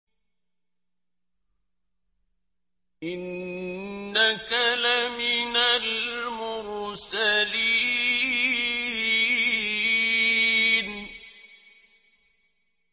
إِنَّكَ لَمِنَ الْمُرْسَلِينَ